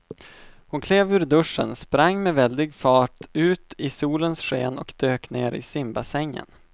Hon klev ur duschen, sprang med väldig fart ut i solens sken och dök ner i simbassängen.